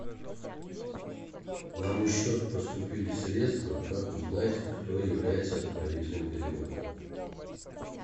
на мой счет поступили средства как узнать кто является отправителем перевода